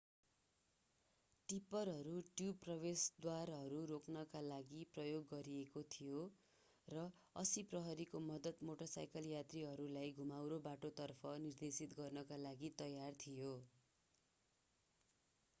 टिप्परहरू tube प्रवेशद्वारहरू रोक्नका लागि प्रयोग गरिएका थिए र 80 प्रहरीको मद्दत मोटरसाइकल यात्रीहरूलाई घुमाउरो बाटो तर्फ निर्देशित गर्नका लागि तयार थियो